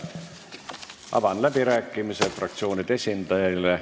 Avan läbirääkimised fraktsioonide esindajaile.